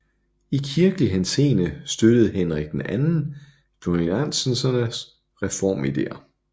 I kirkelig henseende støttede Henrik II cluniacensernes reformideer